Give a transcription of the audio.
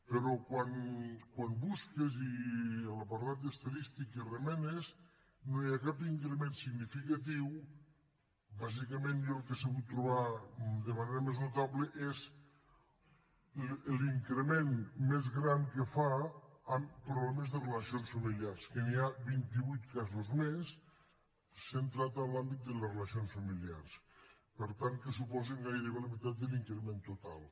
però quan busques i a l’apartat d’estadístiques remenes no hi ha cap increment significatiu bàsicament jo el que he sabut trobar de manera més notable és l’increment més gran que fa en problemes de relacions familiars que n’hi ha vint i vuit casos més centrats en l’àmbit de les relacions familiars per tant que suposen gairebé la meitat de l’increment total